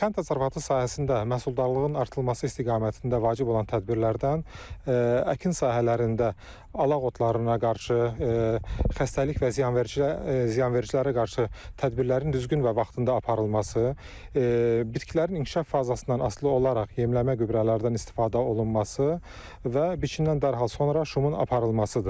Kənd təsərrüfatı sahəsində məhsuldarlığın artırılması istiqamətində vacib olan tədbirlərdən əkin sahələrində alaq otlarına qarşı xəstəlik və ziyanvericilərə qarşı tədbirlərin düzgün və vaxtında aparılması və biçimindən dərhal sonra şumun aparılmasıdır.